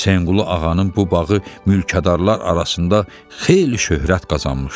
Hüseynqulu ağanın bu bağı mülkadarlar arasında xeyli şöhrət qazanmışdı.